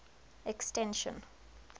extension